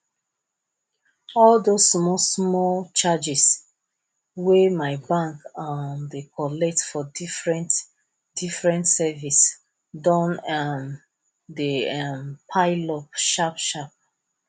all those small small charges wey my bank um dey collect for different different service don um dey um pile up sharp sharp